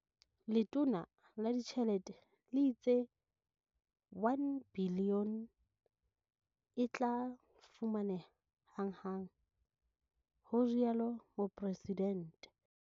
Letona la Ditjhelete le itse R1 bilione e tla fumaneha hanghang, ho rialo Mopresidente.